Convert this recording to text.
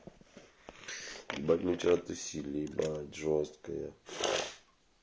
ебать мы вчера тусили ебать жёстко я